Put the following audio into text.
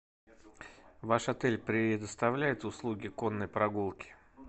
ваш отель предоставляет услуги конной прогулки